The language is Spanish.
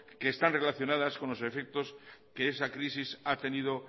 que están relacionadas con los efectos que esa crisis ha tenido